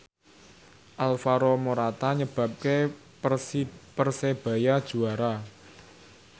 Alvaro Morata nyebabke Persebaya juara